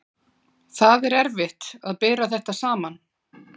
Það er erfitt að bera þetta saman.